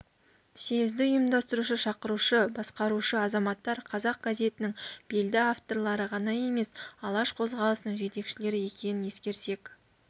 съезді ұйымдастырушы шақырушы басқарушы азаматтар қазақ газетінің белді авторлары ғана емес алаш қозғалысының жетекшілері екенін ескерсек